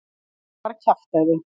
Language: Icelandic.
Þetta er bara kjaftæði.